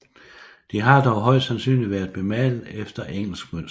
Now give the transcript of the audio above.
De har dog højst sandsynligt været bemalet efter engelsk mønster